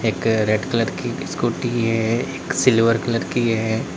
एक red colour की scooty है एक सिल्वर कलर की है।